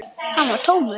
Hann var tómur.